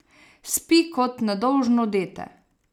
Spi kot nedolžno dete.